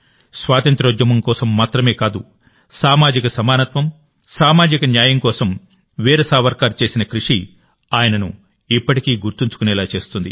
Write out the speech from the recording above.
స్వాతంత్య్రోద్యమం కోసం మాత్రమే కాదు సామాజిక సమానత్వం సామాజిక న్యాయం కోసం వీర్ సావర్కర్ చేసిన కృషి ఆయనను ఇప్పటికీ గుర్తుంచుకునేలా చేస్తుంది